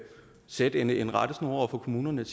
sætte en en rettesnor for kommunerne